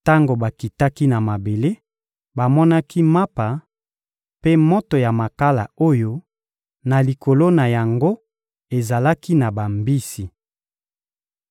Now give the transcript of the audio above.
Tango bakitaki na mabele, bamonaki mapa mpe moto ya makala oyo na likolo na yango ezalaki na bambisi.